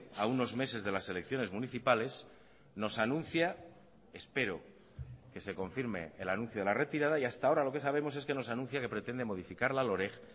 a unos meses de las elecciones municipales nos anuncia espero que se confirme el anuncio de la retirada y hasta ahora lo que sabemos es que nos anuncia que pretende modificar la loreg